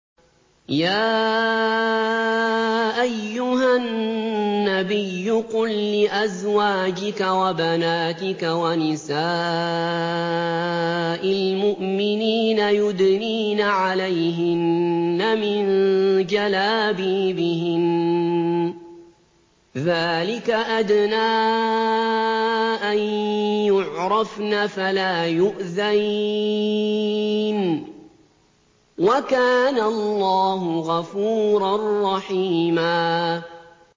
يَا أَيُّهَا النَّبِيُّ قُل لِّأَزْوَاجِكَ وَبَنَاتِكَ وَنِسَاءِ الْمُؤْمِنِينَ يُدْنِينَ عَلَيْهِنَّ مِن جَلَابِيبِهِنَّ ۚ ذَٰلِكَ أَدْنَىٰ أَن يُعْرَفْنَ فَلَا يُؤْذَيْنَ ۗ وَكَانَ اللَّهُ غَفُورًا رَّحِيمًا